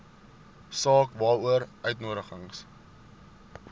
saak waaroor uitnodigings